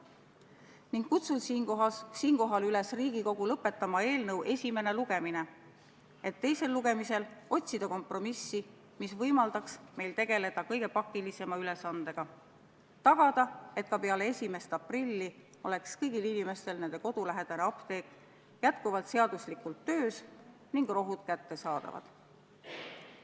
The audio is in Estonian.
Seepärast kutsun Riigikogu üles lõpetama selle eelnõu esimene lugemine, et teisel lugemisel otsida kompromissi, mis võimaldaks meil tegeleda kõige pakilisema ülesandega: tagada, et ka peale 1. aprilli oleks kõigil inimestel nende kodulähedane apteek seaduslikult töös ning rohud kättesaadavad.